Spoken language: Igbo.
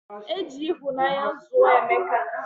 Eji ihunanya zuo emeka